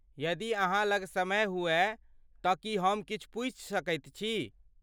यदि अहाँ लग समय हुअय तँ की हम किछु पूछि सकैत छी?